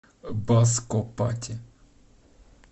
баско пати